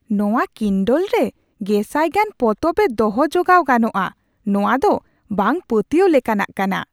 ᱱᱚᱶᱟ ᱠᱤᱱᱰᱚᱞ ᱨᱮ ᱜᱮᱥᱟᱭ ᱜᱟᱱ ᱯᱚᱛᱚᱵ ᱮ ᱫᱚᱦᱚ ᱡᱚᱜᱟᱣ ᱜᱟᱱᱚᱜᱼᱟ ᱾ ᱱᱚᱶᱟ ᱫᱚ ᱵᱟᱝ ᱯᱟᱹᱛᱭᱟᱹᱣ ᱞᱮᱠᱟᱱᱟᱜ ᱠᱟᱱᱟ !